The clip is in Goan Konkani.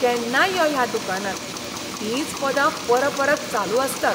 केन्नाय यो ह्या दुकानांत, तींच पदां परपरत चालू आसतात.